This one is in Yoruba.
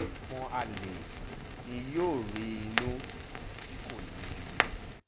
ọmọ àlè ni yóò rí inú tí kò ní í bí